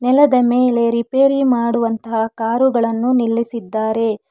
ನೆಲದ ಮೇಲೆ ರಿಪೇರಿ ಮಾಡುವಂತಹ ಕಾರುಗಳನ್ನು ನಿಲ್ಲಿಸಿದ್ದಾರೆ.